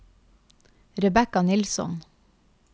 Rebekka Nilsson